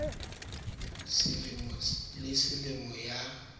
ya selemo le selemo ya